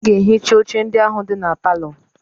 Ị ga-ehicha oche ndị ahụ dị na palọ!